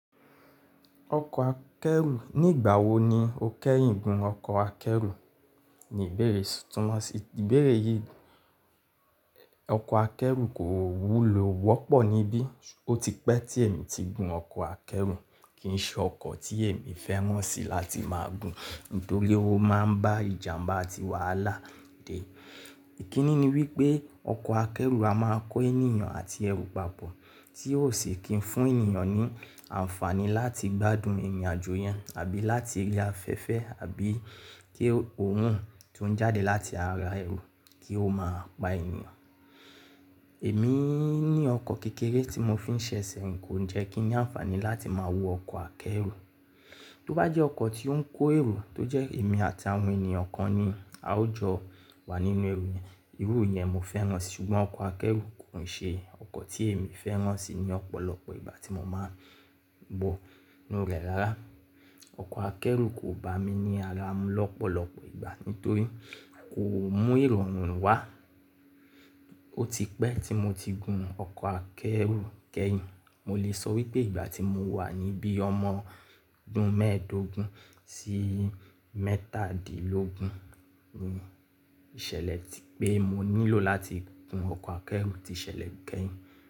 Ọkọ̀ akẹ́rù, nígbàwo ni o kẹ́yìn gun ọkọ̀ akẹ́rù? Ni ìbéèrè, túnmọ̀ sí ìbéèrè yìí, ọkọ̀ akẹ́rù kò wúlò wọ́pọ̀ níbí. O ti pẹ́ tí èmi ti gun ọkọ̀ akẹ́rù, kì í ṣe ọkọ̀ tí èmi fẹ́ mọ̀ sí láti máa gun, nítorí ó máa ń bá ìjàmbá àti wàhálà dé. Ìkíni ni wípé ọkọ̀ akẹ́rù a máa kó ènìyàn àti ẹrù papọ̀, tí ó sì kí ń fún ènìyàn ní àǹfààní láti gbádùn ìrìnàjò yẹn àbí láti rí afẹ́fẹ́ àbí kí òrun tó ń jáde láti ara ẹrù kí ó máa pa ènìyàn. Èmi ní ọkọ̀ kékeré tí mo fi ń ṣe sẹ̀rin, kó ń jẹ́ kí ni àǹfààní láti máa wo ọkọ̀ akẹ́rù. Tó bá jẹ́ ọkọ̀ tí ó ń kó èrò tó jẹ́ èmi àti àwọn ènìyàn kan ni a ó jọ wà nínú ẹrù yẹn, irú yẹn mo fẹ́ràn sí, ṣùgbọ́n ọkọ̀ akẹ́rù kò ń ṣe ọkọ̀ tí èmi fẹ́ràn sí ní ọ̀pọ̀lọpọ̀ ìgbà tí mo máa wọ nú rẹ̀ rárá. Ọkọ̀ akẹ́rù kò bá mi ní ara mu lọ́pọ̀lọpọ̀ ìgbà, nítorí kò mú ìrọ̀rùn wá. O ti pẹ́ tí mo ti gun ọkọ̀ akẹ́rù kẹ́yìn, mo lè sọ wípé ìgbà tí mo wà níbí ọmọ dún mẹ́ẹ̀ẹ́dógún sí mẹ́tàdínlógún ni ìṣẹ̀lẹ̀ tí pé mo nílò láti gun ọkọ̀ akẹ́rù ti ṣẹlẹ̀ kẹ́yìn.